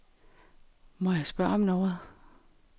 Må jeg spørge om noget.